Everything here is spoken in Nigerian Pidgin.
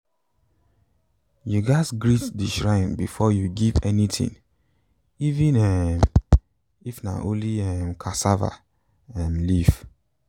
you gatz greet the shrine before you give anything even um if na only um cassava um leaf.